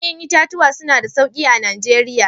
Ƴa'ƴan itatuwa suna da sauƙi a Najeriya.